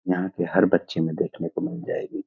यहाँ के हर बच्‍चे में देखने को मिल जाएगी।